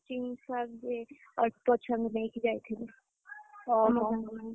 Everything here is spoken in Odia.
Coaching ଛୁଆ ଯିଏ, ଅଳ୍ପ ଛୁଆଙ୍କୁ ନେଇକି ଯାଇଥିଲୁ।